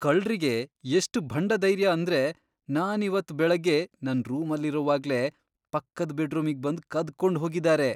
ಕಳ್ರಿಗೆ ಎಷ್ಟ್ ಭಂಡಧೈರ್ಯ ಅಂದ್ರೆ ನಾನಿವತ್ತ್ ಬೆಳಗ್ಗೆ ನನ್ ರೂಮಲ್ಲಿರುವಾಗ್ಲೇ ಪಕ್ಕದ್ ಬೆಡ್ರೂಮಿಗ್ ಬಂದು ಕದ್ಕೊಂಡ್ ಹೋಗಿದಾರೆ.